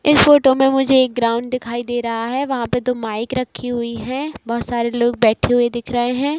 इस फोटो में मुझे एक ग्राउंड दिखाई दे रहा है वहां पर दो माइक रखी हुई है बहुत सारे लोग बैठे हुए दिख रहे है।